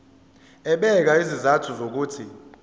ebeka izizathu zokuthi